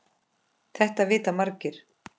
Þetta vita margir.